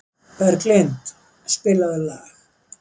Berglind, spilaðu lag.